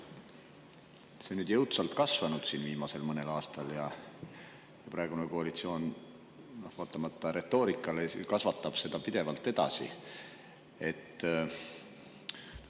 on viimasel mõnel aastal jõudsalt kasvanud ja praegune koalitsioon vaatamata retoorikale kasvatab seda pidevalt edasi.